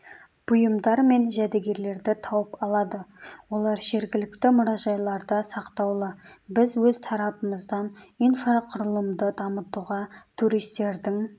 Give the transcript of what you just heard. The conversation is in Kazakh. бұйымдар мен жәдігерлерді тауып алады олар жергілікті мұражайларда сақтаулы біз өз тарапымыздан инфрақұрылымды дамытуға туристердің